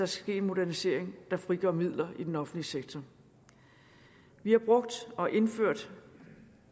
ske en modernisering der frigør midler i den offentlig sektor vi har brugt og indført